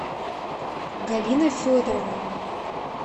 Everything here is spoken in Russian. галина федоровна